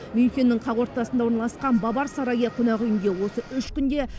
мюнхеннің қақ ортасында орналасқан бавар сарайы қонақүйінде осы үш күнде